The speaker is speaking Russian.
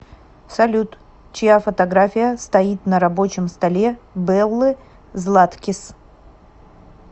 салют чья фотография стоит на рабочем столе беллы златкис